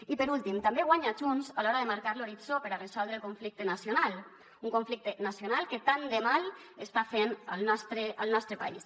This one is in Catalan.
i per últim també guanya junts a l’hora de marcar l’horitzó per a resoldre el conflicte nacional un conflicte nacional que tant de mal està fent al nostre país